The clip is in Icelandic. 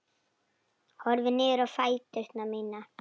Horfi niður á fætur mína.